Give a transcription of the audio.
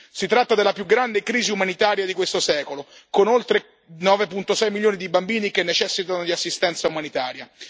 Si tratta della più grande crisi umanitaria di questo secolo, con oltre 9,6 milioni di bambini che necessitano di assistenza umanitaria.